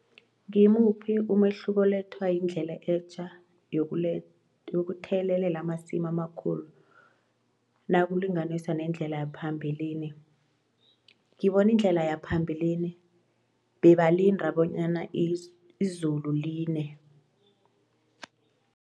Ngimuphi umehluko olethwa yindlela etja yokuthelelela amasimu amakhulu nakulinganiswa nendlela yaphambilini. Ngibone indlela yaphambilini bebalinda bonyana izulu line.